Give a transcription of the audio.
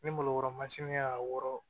Ni malokɔrɔ mansini y'a wɔrɔ